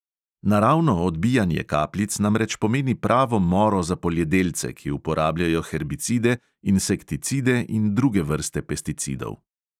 Naravno odbijanje kapljic namreč pomeni pravo moro za poljedelce, ki uporabljajo herbicide, insekticide in druge vrste pesticidov.